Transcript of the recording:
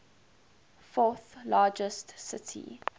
fourth largest city